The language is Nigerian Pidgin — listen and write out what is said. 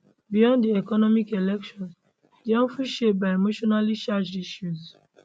beyond di economy elections dey of ten shaped by emotionallycharged issues